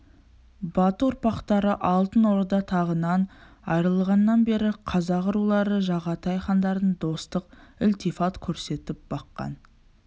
бату ұрпақтары алтын орда тағынан айырылғаннан бері қазақ рулары жағатай хандарына достық ілтифат көрсетіп баққан